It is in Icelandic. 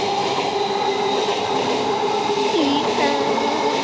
Þegar við enn áttum erindi.